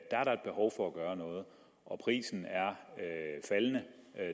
er der et behov for at gøre noget og prisen er faldende